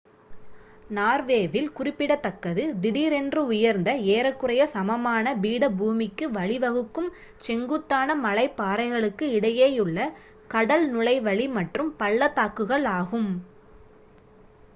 நார்வேவில் குறிப்பிடத்தக்கது திடீரென்று உயர்ந்த ஏறக்குறைய சமமான பீடபூமிக்கு வழிவகுக்கும் செங்குத்தான மலைப்பாறைகளுக்கு இடையேயுள்ள கடல் நுழைவழி மற்றும் பள்ளத்தாக்குகள் ஆகும்